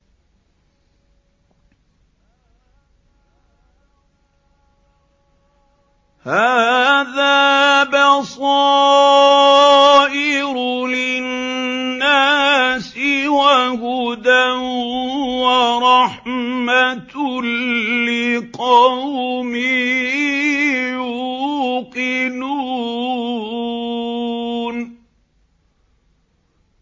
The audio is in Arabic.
هَٰذَا بَصَائِرُ لِلنَّاسِ وَهُدًى وَرَحْمَةٌ لِّقَوْمٍ يُوقِنُونَ